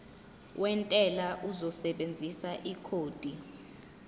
wentela uzosebenzisa ikhodi